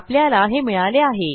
आपल्याला हे मिळाले आहे